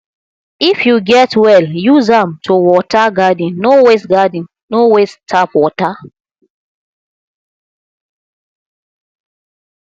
if you get well use am to water garden no waste garden no waste tap water